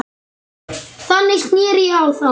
Þannig sneri ég á þá.